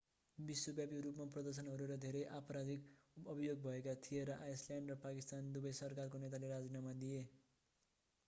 विश्वव्यापी रूपमा प्रदर्शनहरू र धेरै आपराधिक अभियोग भएका थिए र आइसल्यान्ड र पाकिस्तान दुबै सरकारका नेताले राजीनामा दिए